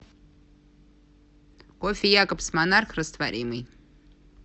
кофе якобс монарх растворимый